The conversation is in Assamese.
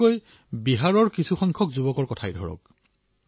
যিদৰে বিহাৰৰ কিছুসংখ্যক যুৱকৰ কথাই চাওক